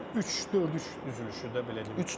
Üç dörd üç düzülüşüdür belə deyim.